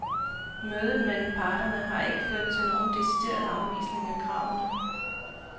Mødet mellem parterne har ikke ført til nogen decideret afvisning af kravene.